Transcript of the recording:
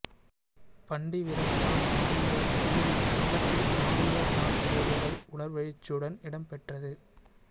பண்டிவிரிச்சான் மாவீரர் துயிலும் இல்லத்தில் மாவீரர் நாள் நிகழ்வுகள் உணர்வெழுச்சியுடன் இடம்பெற்றது